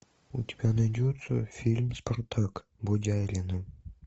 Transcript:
у тебя найдется фильм спартак боги арены